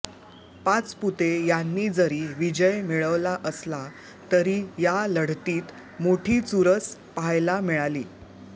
पाचपुते यांनी जरी विजय मिळवला असला तरी या लढतीत मोठी चुरस पाहायला मिळाली